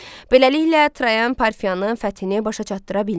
Beləliklə, Trayan Parfiyanın fəthini başa çatdıra bilmədi.